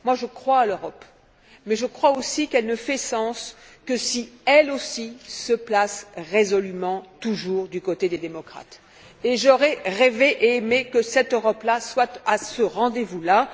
Moi, je crois en l'Europe, mais je crois aussi qu'elle ne fait sens que si elle aussi se place résolument toujours du côté des démocrates, et j'aurais rêvé et aimé que cette Europe là soit à ce rendez vous là!